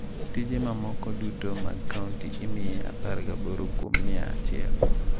Tije mamoko duto mag kaunti imiye 18 kuom mia achiel.